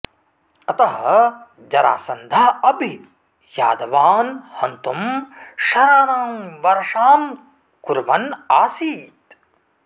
अतः जरासन्धः अपि यादवान् हन्तुं शराणां वर्षां कुर्वन् आसीत्